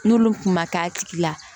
N'olu kun ma k'a tigi la